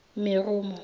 meromo